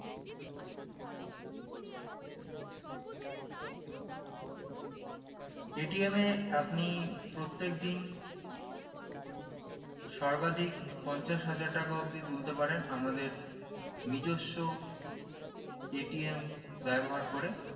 এ আপনি প্রত্যেকদিন সর্বাধিক পঞ্চাশ হাজার টাকা অবদি তুলতে পারেন আমাদের নিজস্ব ব্যবহার করে